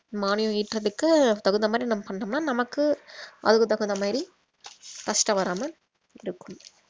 மானியம் ஈட்டறதுக்கு தகுந்த மாதிரி நம்ம பண்ணோம்னா நமக்கு அதுக்கு தகுந்த மாதிரி கஷ்டம் வராம இருக்கும்